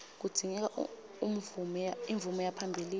kudzingeka umvume yaphambilini